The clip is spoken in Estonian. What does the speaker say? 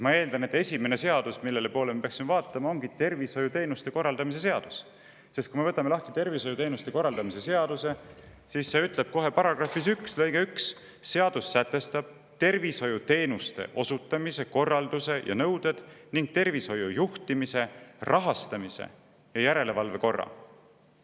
Ma eeldan, et esimene seadus, mille poole me peaksime vaatama, ongi tervishoiuteenuste korraldamise seadus, sest kui me võtame tervishoiuteenuste korraldamise seaduse lahti, siis näeme, et selle § 1 lõige 1 ütleb: "Seadus sätestab tervishoiuteenuste osutamise korralduse ja nõuded ning tervishoiu juhtimise, rahastamise ja järelevalve korra.